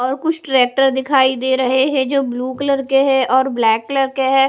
और कुछ ट्रैक्टर दिखाई दे रहे हैं जो ब्ल्यू कलर के हैं और ब्लैक कलर के हैं।